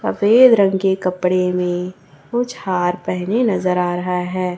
सफेद रंग के कपड़े में कुछ हार पहने नजर आ रहा है।